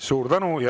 Suur tänu!